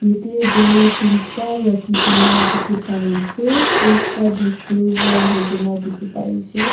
tey gari tinta rakhigena dikhi pai ase ekta du silver huigena dikhi pai ase.